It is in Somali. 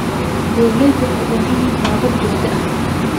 Beeraleydu waxay u baahan yihiin tababar joogto ah.